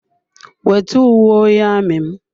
Wete uwe onye amị m!